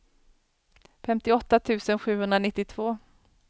femtioåtta tusen sjuhundranittiotvå